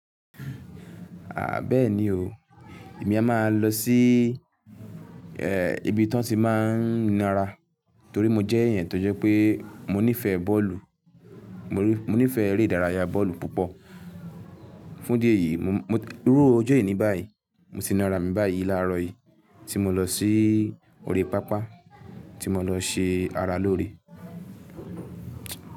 À beeni o, èmi a máa lọ sí, ee- ibi tí wọ́n ti máa ń náara torí mo jẹ́ ẹ̀yàn tó jẹ́ pé mo nífẹ̀ẹ́ bọ́ọ̀lù. Mo nífẹ̀ẹ́ eré ìdárayá bọ́ọ̀lù púpọ̀. Fún idi eyìí, mo mo, iru ojó ení báyìí, mo ti na arà mí báyìí láàárọ̀ yìí tí mo lọ sí orí páapá tí mo lọ ṣe ara lóore.